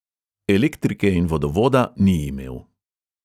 Elektrike in vodovoda ni imel.